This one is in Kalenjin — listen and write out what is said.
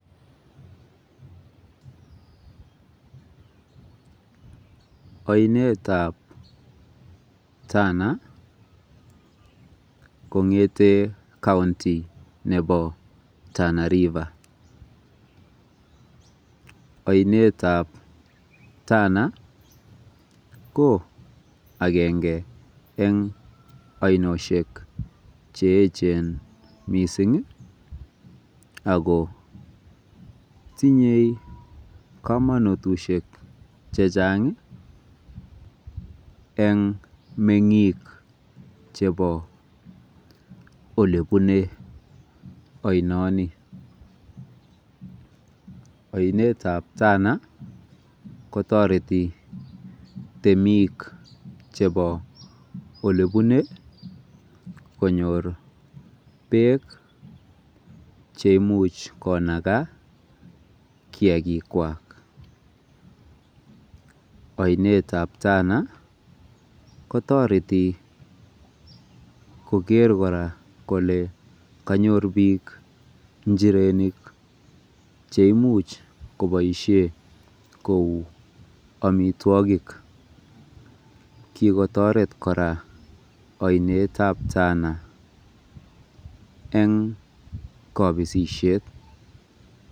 Oinetab Tana kongete kaunti nebo Tana Reiva . Oinetab Tana ko agenge eng oinoshek cheecheen ako tinye komonutik chechabg eng meng'ik chebo olebune.